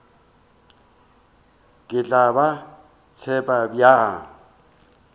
ke tla ba tseba bjang